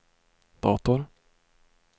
dator